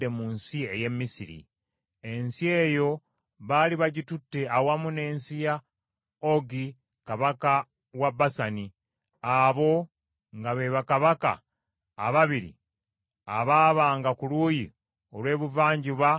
Ensi eyo baali bagitutte awamu n’ensi ya Ogi kabaka wa Basani, abo nga be bakabaka ababiri abaabanga ku luuyi olw’ebuvanjuba olw’omugga Yoludaani.